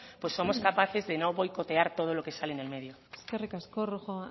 pues somos capaces de no boicotear todo lo que sale en el medio eskerrik asko rojo